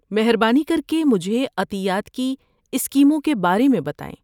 مہربانی کر کے مجھے عطیات کی اسکیموں کے بارے میں بتائیں۔